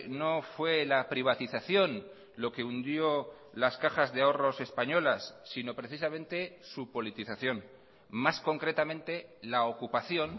no fue la privatización lo que hundió las cajas de ahorros españolas sino precisamente su politización más concretamente la ocupación